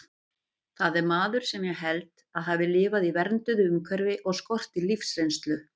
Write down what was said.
Það er maður sem ég held að hafi lifað í vernduðu umhverfi og skorti lífsreynslu.